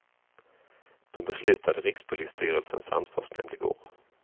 Det beslutade rikspolisstyrelsens ansvarsnämnd i går.